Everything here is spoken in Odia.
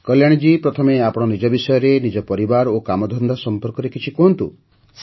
କଲ୍ୟାଣୀ ଜୀ ପ୍ରଥମେ ଆପଣ ନିଜ ବିଷୟରେ ନିଜ ପରିବାର ଓ କାମଧନ୍ଦା ସମ୍ପର୍କରେ କିଛି କୁହନ୍ତୁ